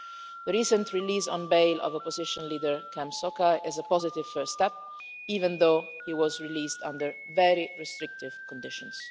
The recent release on bail of opposition leader Kem Sokha is a positive first step, even though he was released under very restrictive conditions.